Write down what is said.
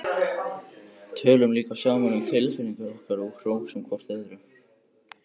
Tölum líka saman um tilfinningar okkar og hrósum hvort öðru.